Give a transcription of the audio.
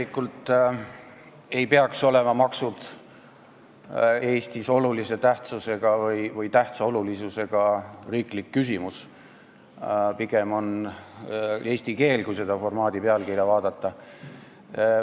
Tegelikult ei peaks maksud Eestis olema olulise tähtsusega või tähtsa olulisusega riiklik küsimus, pigem on seda eesti keel, kui selle formaadi pealkirja vaadata.